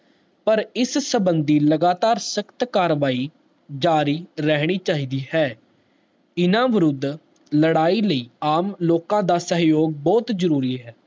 ਪਾਰ ਇਸ ਸੰਬੰਦੀ ਲਗਾਤਾਰ ਸਕਤ ਕਾਰਵਾਈ ਜਾਰੀ ਰਹਿਣੀ ਚਾਹੀਦੀ ਹੈ ਇਨਾ ਵਿਰੁੱਧ ਲੜਾਈ ਲੇਈ ਆਮ ਲੋਕ ਦਾ ਸਹਿਯੋਗ ਬਹੁਤ ਜਰੂਰੀ ਹੈ